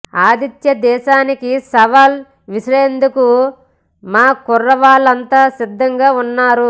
ఆతిథ్య దేశానికి సవాల్ విసిరేందుకు మా కుర్రాళ్లంతా సిద్ధంగా ఉన్నారు